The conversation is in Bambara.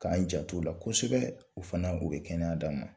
K'an janto u la kosɛbɛ u fana u bɛ kɛnɛya d'a ma